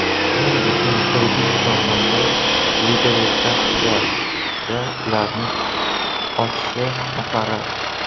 Shuning uchun kredit sohasi liberalizatsiyasida ularning oshishi muqarrar.